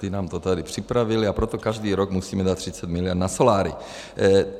Ti nám to tady připravili, a proto každý rok musíme dát 30 mld. na soláry.